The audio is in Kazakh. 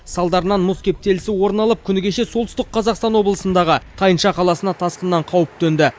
салдарынан мұз кептелісі орын алып күні кеше солтүстік қазақстан облысындағы тайынша қаласына тасқыннан қауіп төнді